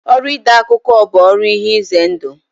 Ọrụ ide akụkọ bụ ọrụ ihe ize ndụ.